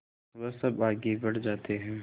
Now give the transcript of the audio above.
वह सब आगे बढ़ जाते हैं